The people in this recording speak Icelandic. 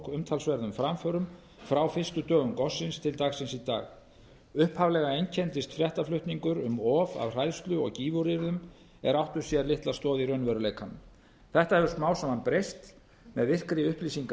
umtalsverðum framförum frá fyrstu dögum gossins til dagsins í dag upphaflega einkenndist fréttaflutningur um of af hræðslu og gífuryrðum er áttu sér litla stoð í raunveruleikanum þetta hefur smám saman breyst með virkri